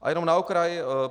A jenom na okraj.